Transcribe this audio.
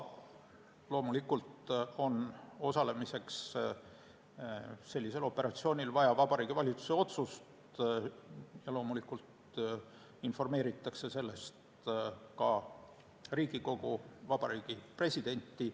Loomulikult on sellisel operatsioonil osalemiseks vaja Vabariigi Valitsuse otsust ning loomulikult informeeritakse sellest ka Riigikogu ja Vabariigi Presidenti.